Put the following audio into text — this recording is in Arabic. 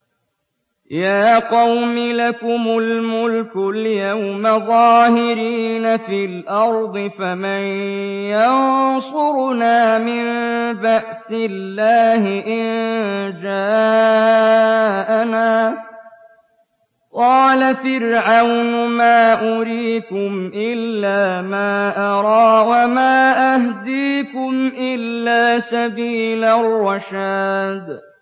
يَا قَوْمِ لَكُمُ الْمُلْكُ الْيَوْمَ ظَاهِرِينَ فِي الْأَرْضِ فَمَن يَنصُرُنَا مِن بَأْسِ اللَّهِ إِن جَاءَنَا ۚ قَالَ فِرْعَوْنُ مَا أُرِيكُمْ إِلَّا مَا أَرَىٰ وَمَا أَهْدِيكُمْ إِلَّا سَبِيلَ الرَّشَادِ